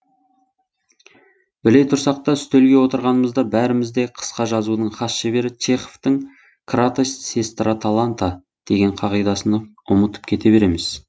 біле тұрсақ та үстелге отырғанымызда бәріміз де қысқа жазудың хас шебері чеховтың кратость сестра таланта деген қағидасын ұмытып кете береміз